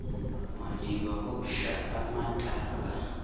madiba ho psha a matala